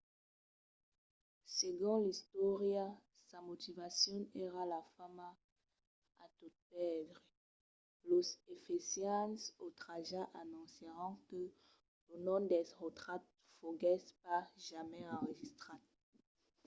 segon l’istòria sa motivacion èra la fama a tot pèrdre. los efesians otratjats anoncièron que lo nom d’erostrat foguèsse pas jamai enregistrat